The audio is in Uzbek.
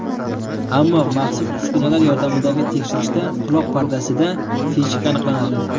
Ammo maxsus uskunalar yordamidagi tekshirishda quloq pardasida teshik aniqlanadi.